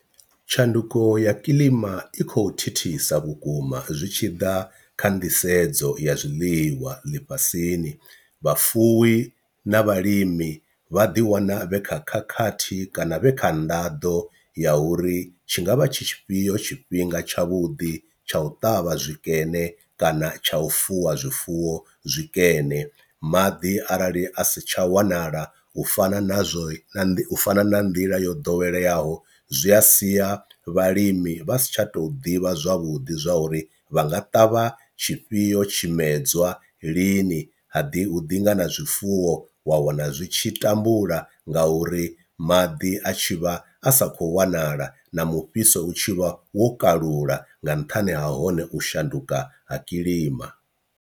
Tshanduko ya kiḽima i khou thithisa vhukuma zwi tshi ḓa kha nḓisedzo ya zwiḽiwa ḽifhasini, vhafuwi na vhalimi vha ḓiwana vhe kha khakhathi kana vhe kha nḓaḓo ya uri tshi ngavha tshifhio tshifhinga tshavhuḓi tsha u ṱavha zwikene kana tsha u fuwa zwifuwo zwikene, maḓi arali a si tsha wanala u fana na zwo na u fana na nḓila yo ḓoweleaho zwi a siya vhalimi vha si tsha to ḓivha zwavhuḓi zwa uri vha nga ṱavha tshifhio tshimedzwa lini, ha ḓi hu ḓi ngana zwifuwo wa wana zwi tshi tambula nga uri maḓi a tshi vha a sa kho wanala na mufhiso u tshi vha wo kalula nga nṱhani ha hone u shanduka ha kilima.